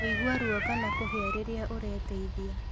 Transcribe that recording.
Kũigua ruo kana kũhĩa rĩrĩa ũreteithiĩ